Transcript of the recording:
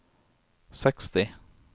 seksti